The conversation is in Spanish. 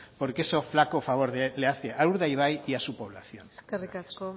porque eso flaco favor de le hace a urdaibai y a su población eskerrik asko